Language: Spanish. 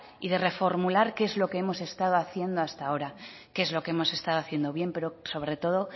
y de reformular qué es lo que hemos estado haciendo hasta ahora qué es lo que hemos estado haciendo bien pero sobre todo